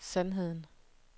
sandheden